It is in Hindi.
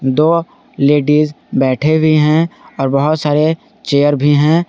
दो लेडिस बैठे भी हैं और बहुत सारे चेयर भी हैं।